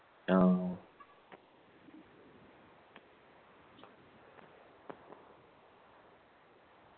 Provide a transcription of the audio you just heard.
ആ